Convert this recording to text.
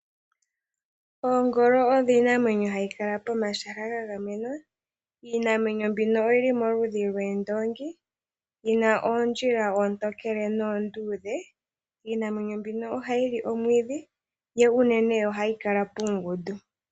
Oongolo odho iinamwenyo hayi kàla pomahala gagamenwa. Iinamwenyo mbino oyi li moludhi lwoondoongi. Yi na oondjila oontokele noonduudhe. Iinamwenyo mbino ohayi li omwiidhi, yo unene ohayi kala puungundu.